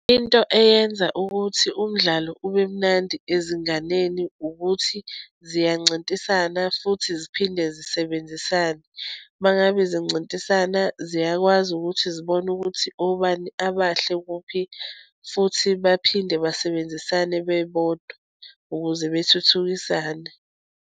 Into eyenza ukuthi umdlalo ube mnandi ezinganeni ukuthi ziyancintisana futhi ziphinde zisebenzisane. Uma ngabe zincintisana ziyakwazi ukuthi zibone ukuthi obani abahle kuphi futhi baphinde basebenzisane bebodwa ukuze bethuthukisane.